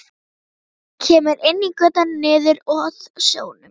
Kemur inn í götuna niður að sjónum.